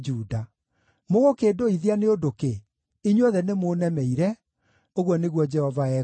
“Mũgũkĩndũithia nĩ ũndũ kĩ? Inyuothe nĩmũũnemeire,” ũguo nĩguo Jehova ekuuga.